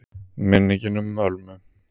MINNINGIN UM ÖLMU